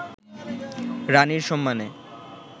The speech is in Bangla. রাণীর সম্মানে